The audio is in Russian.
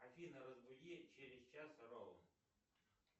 афина разбуди через час ровно